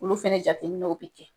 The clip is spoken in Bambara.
Olu fana jateminɛw bɛ kɛ .